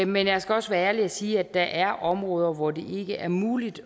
men jeg skal også være ærlig og sige at der er områder hvor det ikke er muligt